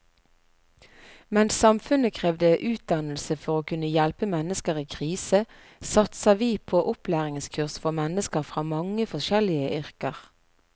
Mens samfunnet krever utdannelse for å kunne hjelpe mennesker i krise, satser vi på opplæringskurs for mennesker fra mange forskjellige yrker.